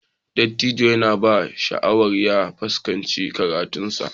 Dattijon ya ba shi shawarar ya fuskanci karatunsa.